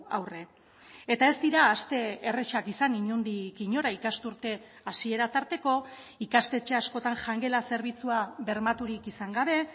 aurre eta ez dira aste errazak izan inondik inora ikasturte hasiera tarteko ikastetxe askotan jangela zerbitzua bermaturik izan gabe